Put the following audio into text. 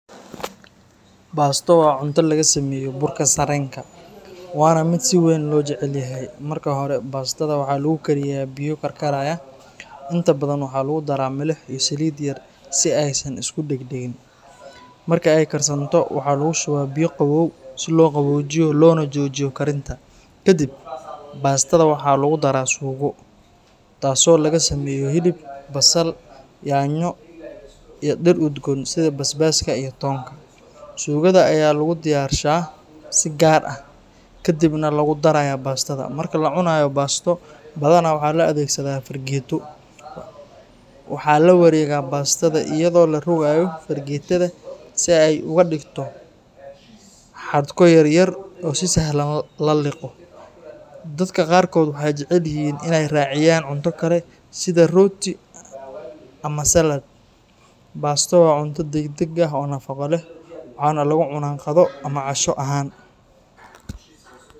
Baasto waa cunto laga sameeyo burka sarreenka, waana mid si weyn loo jecel yahay. Marka hore, baastada waxaa lagu karinayaa biyo karkaraya, inta badan waxaa lagu daraa milix iyo saliid yar si aysan isu dheg-dhegin. Marka ay karsanto, waxaa lagu shubaa biyo qabow si loo qaboojiyo loona joojiyo karinta. Kadib, baastada waxaa lagu daraa suugo, taasoo laga sameeyo hilib, basal, yaanyo iyo dhir udgoon sida basbaaska iyo toonta. Suugada ayaa loo diyaarshaa si gaar ah kadibna lagu darayaa baastada. Marka la cunayo baasto, badanaa waxaa la adeegsadaa fargeeto. Waxaa la wareegaa baastada iyadoo la rogayo fargeetada si ay uga dhigto xadhko yar yar oo sahlan in la liqo. Dadka qaarkood waxay jecel yihiin in ay raaciyaan cunto kale sida rooti ama salad. Baasto waa cunto degdeg ah oo nafaqo leh, waxaana lagu cunaa qado ama casho ahaan.